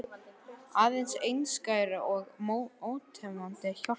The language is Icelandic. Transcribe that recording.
Aðeins einskær og ótæmandi hjálpsemi og góðvild Júlíu.